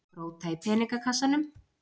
Róta í peningakassanum.